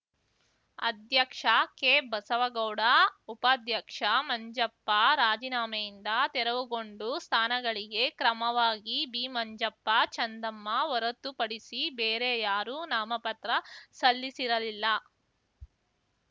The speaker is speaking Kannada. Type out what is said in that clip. ಅಧ್ಯಕ್ಷ ಕೆ ಬಸವಗೌಡ ಉಪಾಧ್ಯಕ್ಷ ಮಂಜಪ್ಪ ರಾಜಿನಾಮೆಯಿಂದ ತೆರವುಗೊಂಡು ಸ್ಥಾನಗಳಿಗೆ ಕ್ರಮವಾಗಿ ಬಿಮಂಜಪ್ಪ ಚಂದಮ್ಮ ಹೊರತು ಪಡಿಸಿ ಬೇರೆ ಯಾರೂ ನಾಮಪತ್ರ ಸಲ್ಲಿಸಿರಲಿಲ್ಲ